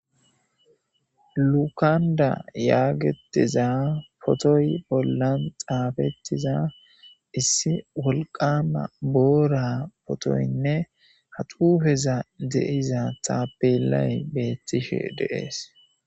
Lukanda yaagetiza potoy bollan xaafettiza issi wolqama boora potoynne hadufeza deiza taapelay beettishe deees.